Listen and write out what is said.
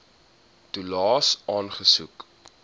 toelaes aansoek